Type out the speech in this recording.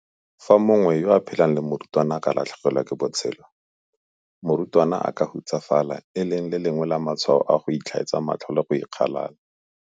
Fa mongwe yo a phelang le morutwana a ka latlhegelwa ke botshelo, morutwana a ka hutsafala, e leng le lengwe la matshwao a go itlhaetsa matlho le go ikgalala.